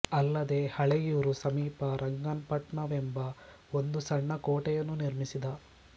ಅಲ್ಲದೇ ಹಳೆಯೂರು ಸಮೀಪ ರಂಗಾಪಟ್ನವೆಂಬ ಒಂದು ಸಣ್ಣ ಕೋಟೆಯನ್ನು ನಿರ್ಮಿಸಿದ